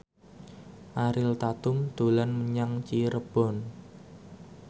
Ariel Tatum dolan menyang Cirebon